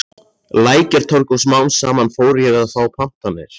Lækjartorg og smám saman fór ég að fá pantanir.